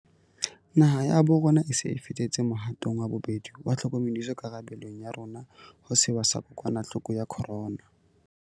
Naha ya bo rona e se e fetetse mohatong wa bobedi wa tlhokomediso karabe long ya rona ho sewa sa kokwanahloko ya corona.